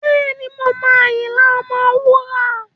Bẹ́ẹ̀ni, mo mọ Ayinla Omowura.